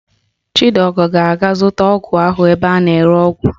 Chidiọgọ ga-aga zụta ọgwụ ahụ ebe a na-ere ọgwụ